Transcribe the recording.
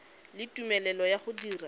le tumelelo ya go dira